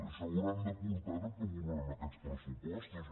això hauran de portar ho que aprovem aquests pressupostos